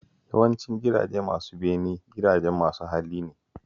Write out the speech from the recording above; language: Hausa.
Yawancin gidaje masu bene gidajen masu hali ne